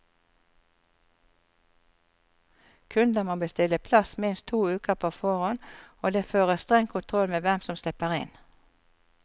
Kunder må bestille plass minst to uker på forhånd, og det føres streng kontroll med hvem som slipper inn.